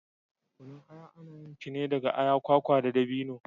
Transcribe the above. Kunun aya ana yin shi ne daga aya, kwakwa da dabino.